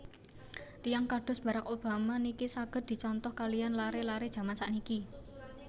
Tiyang kados Barrack Obama niki saget dicontoh kaliyan lare lare jaman sakniki